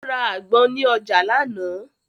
Ó ra àgbọn ní ọjà lánàá.